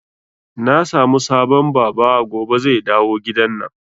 Na samu sabon Baba gobe zai dawo gidanan